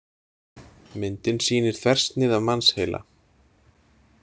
Myndin sýnir þversnið af mannsheila.